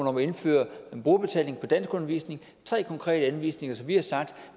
om at indføre en brugerbetaling for danskundervisning det tre konkrete anvisninger som vi har sagt